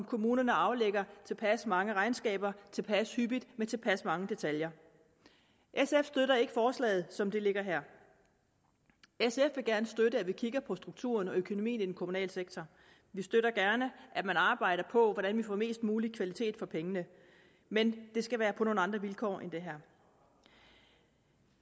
kommunerne aflægger tilpas mange regnskaber tilpas hyppigt og med tilpas mange detaljer sf støtter ikke forslaget som det ligger her sf vil gerne støtte at vi kigger på strukturen og økonomien i den kommunale sektor vi støtter gerne at man arbejder på hvordan vi får mest mulig kvalitet for pengene men det skal være på nogle andre vilkår end dem her